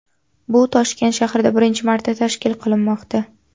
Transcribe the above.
Bu Toshkent shahrida birinchi marta tashkil qilinmoqda.